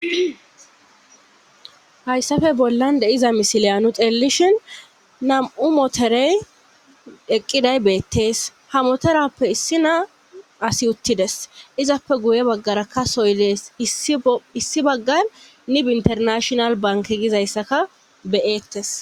hayssafe bollan deiza misiliyanu xelelishin nam7u motorey eqqiday beettees ha motorappe issi naa asi uttides izappe guye baggara kasoylees issi baggar nib internashonal banke gizayssaka beyettes